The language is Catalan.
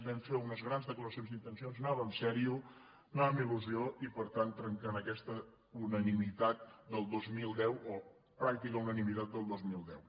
vam fer unes grans declaracions d’intencions anava seriosament anava amb il·lusió i per tant trenquen aquesta unanimitat del dos mil deu o pràctica unanimitat del dos mil deu